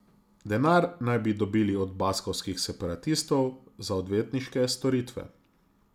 Denar naj bi dobili od baskovskih separatistov za odvetniške storitve.